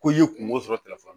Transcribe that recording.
Ko i ye kungo sɔrɔ telefɔni na